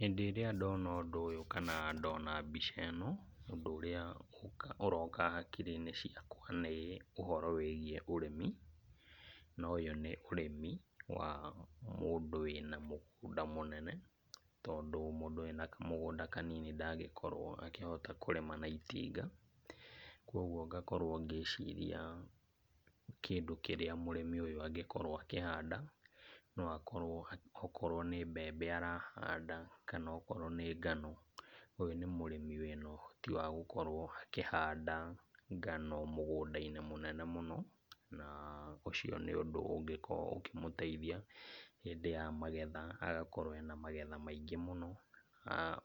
Hĩndĩ ĩrĩa ndona ũndũ ũyũ kana ndona mbica ĩno, ũndũ ũrĩa ũroka hakiri-inĩ ciakwa nĩ ũhoro wĩgiĩ ũrĩmi, na ũyũ nĩ ũrĩmi wa mũndũ wĩna mũgũnda mũnene, tondũ mũndũ wĩna kamũgũnda kanini ndangĩkorwo akĩhota kũrĩma na itinga, koguo ngakorwo ngĩciria kĩndũ kĩrĩa mũrĩmi ũyũ angĩkorwo akĩhanda, no akorwo okorwo nĩ mbembe arahanda kana okorwo nĩ ngano. Ũyũ nĩ mũrĩmi wĩna ũhoti wa gũkorwo akĩhanda ngano mũgũnda-inĩ mũnene mũno, na ũcio nĩ ũndũ ũngĩkorwo ũkĩmũteithia hĩndĩ ya magetha, agakorwo ena magetha maingĩ mũno,